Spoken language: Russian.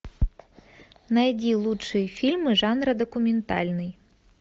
найди лучшие фильмы жанра документальный